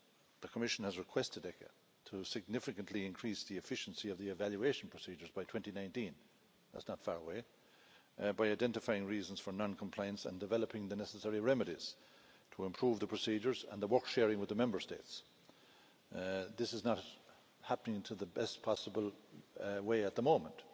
The Commission has requested ECHA to significantly increase the efficiency of the evaluation procedures by 2019 that's not far away by identifying reasons for non-compliance and developing the necessary remedies to improve the procedures and the work-sharing with the Member States. This is not happening in the best possible way at the moment,